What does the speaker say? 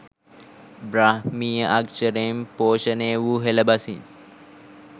බ්‍රාහ්මීය අක්‍ෂරයෙන් පෝෂණය වූ හෙළ බසින්